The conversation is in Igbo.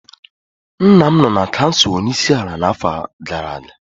Nna m nọ na kansụl onye isi ala n'afọ gara aga.